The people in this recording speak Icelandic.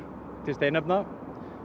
til steinefna